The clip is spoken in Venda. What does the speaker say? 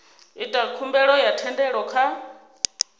ita khumbelo ya thendelo kha